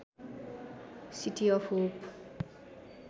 city of hope